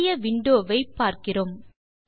புதிய விண்டோ வை பார்க்கிறோம்